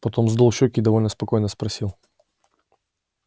потом сдул щеки и довольно спокойно спросил